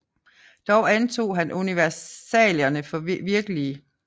Dog antog han universalierne for virkelige